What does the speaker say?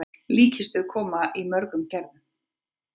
Líkkistur koma í mörgum gerðum.